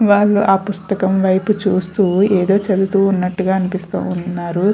వాళ్ళు ఆ పుస్తకం వైపు చూస్తూ ఏదో చదువుతూన్నట్టుగా అనిపిస్తూ ఉన్నారు.